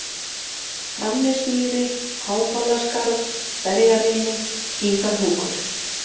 Framnesmýri, Hábalaskarð, Berjarimi, Gígahnúkur